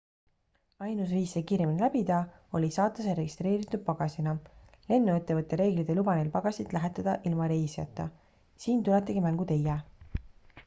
ainus viis see kiiremini läbida oli saata see registreeritud pagasina lennuettevõtte reeglid ei luba neil pagasit lähetada ilma reisijata siin tuletegi mängu teie